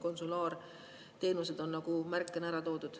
Konsulaarteenused on märkena ära toodud.